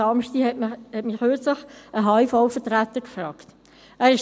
»– Dies fragte mich kürzlich ein Vertreter des Handels- und Industrievereins (HIV).